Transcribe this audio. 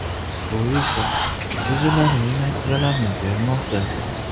Bu esa sezilarli natijalarni bermoqda.